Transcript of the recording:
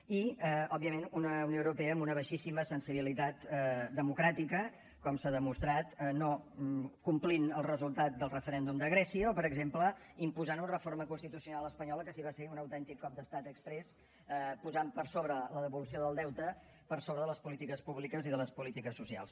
i òbviament una unió europea amb una baixíssima sensibilitat democràtica com s’ha demostrat no complint el resultat del referèndum de grècia o per exemple imposant una reforma constitucional espanyola que sí que va ser un autèntic cop d’estat exprés posant per sobre la devolució del deute per sobre de les polítiques públiques i de les polítiques socials